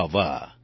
વાહ વાહ